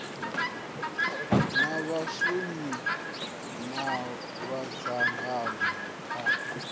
a vhashumi na madzangano a